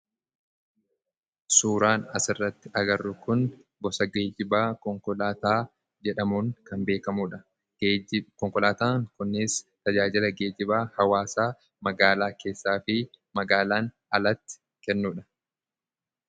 Suuraan asirratti agarru Kun, gosa geejjibaa konkolaataa jedhamuun kan beekamudha. Konkolaataan kunis tajaajila geejibaa hawaasa magaalaa keessaa fi magaalaan alatti kennudha.